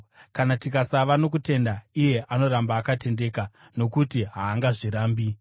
kana tikasava nokutenda, iye anoramba akatendeka, nokuti haangazvirambi.